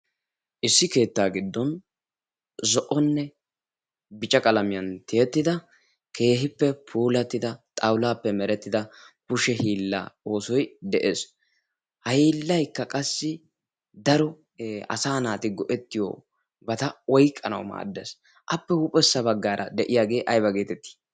Issi keettaa giddon zo'onne bica qalamiyan tiyettida keehippe pulattida xaulaappe merettida pushe hiilla oosoi de'ees. ha hiillaykka qassi daro asa naati go'ettiyo bata woiqqanau maaddas appe huuphessa baggaara de'iyaagee ayba geetettii?